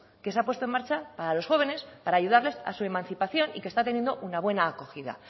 que se ha puesto en marcha para los jóvenes para ayudarles a su emancipación y que está teniendo una buena acogida